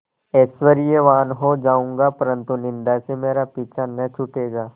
ऐश्वर्यवान् हो जाऊँगा परन्तु निन्दा से मेरा पीछा न छूटेगा